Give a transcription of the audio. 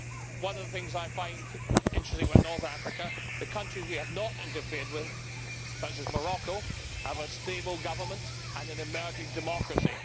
One of the things I find interesting about North Africa is that the countries we have not interfered with, such as Morocco, have a stable government and an emerging democracy.